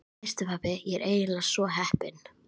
Veistu pabbi, ég er eiginlega svo heppin.